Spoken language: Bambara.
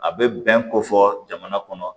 A bɛ bɛn ko fɔ jamana kɔnɔ